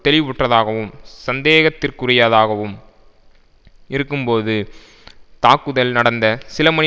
தெளிவுற்றதாகவும் சந்தேகத்திற்குரியதாகவும் இருக்கும்போது தாக்குதல் நடந்த சிலமணி